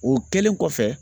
O kɛlen kɔfɛ